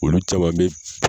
Olu caman bɛ